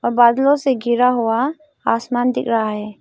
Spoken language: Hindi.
बादलों से घिरा हुआ आसमान दिख रहा है।